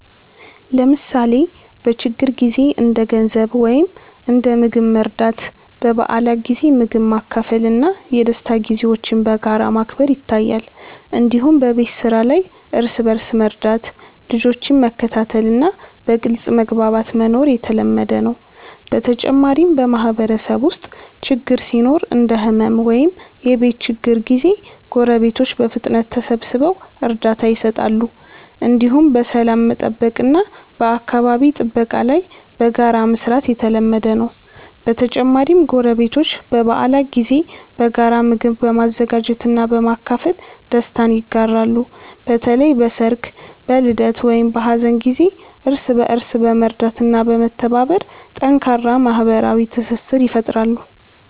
ለምሳሌ በችግር ጊዜ እንደ ገንዘብ ወይም እንደ ምግብ መርዳት፣ በበዓላት ጊዜ ምግብ ማካፈል እና የደስታ ጊዜዎችን በጋራ ማክበር ይታያል። እንዲሁም በቤት ስራ ላይ እርስ በእርስ መርዳት፣ ልጆችን መከታተል እና በግልጽ መግባባት መኖር የተለመደ ነው። በተጨማሪም በማህበረሰብ ውስጥ ችግር ሲኖር እንደ ሕመም ወይም የቤት ችግር ጊዜ ጎረቤቶች በፍጥነት ተሰብስበው እርዳታ ይሰጣሉ። እንዲሁም በሰላም መጠበቅ እና በአካባቢ ጥበቃ ላይ በጋራ መስራት የተለመደ ነው። በተጨማሪም ጎረቤቶች በበዓላት ጊዜ በጋራ ምግብ በመዘጋጀት እና በማካፈል ደስታ ይጋራሉ። በተለይ በሰርግ፣ በልደት ወይም በሀዘን ጊዜ እርስ በእርስ በመርዳት እና በመተባበር ጠንካራ ማህበራዊ ትስስር ይፈጥራሉ።